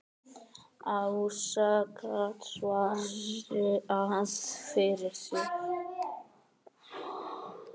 Ása gat svarað fyrir sig.